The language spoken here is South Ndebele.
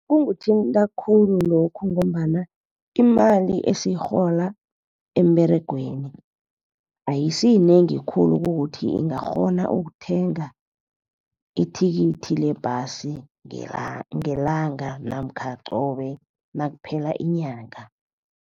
Kungithinta khulu lokhu ngombana imali esiyirhola emberegweni ayisiyinengi khulu kukuthi ingakghona ukuthenga ithikithi lebhasi ngelanga namkha qobe nakuphela inyanga.